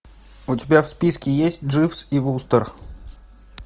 у тебя в списке есть дживс и вустер